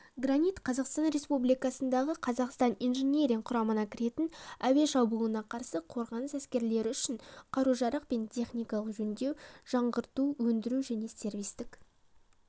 гранит қазақстан республикасындағы қазақстан инжиниринг құрамына кіретін әуе шабуылына қарсы қорғаныс әскерлері үшін қару-жарақ пен техниканы жөндеу жаңғырту өндіру және сервистік